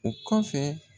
O kɔfɛ